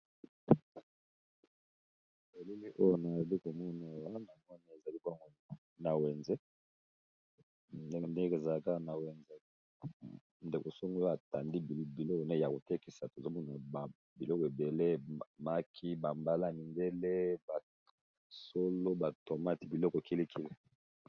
Elili oyo nazoko 5432q komona wana mone eza libango na wenze ndenge ndenge zalaka na wenze ndeko songo atandi biloko ne ya kotekisa tozomona biloko ebele maki bambala mindele basolo batomati biloko kilikili.